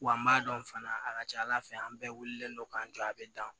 Wa n b'a dɔn fana a ka ca ala fɛ an bɛɛ wulilen don k'an jɔ a bɛ dan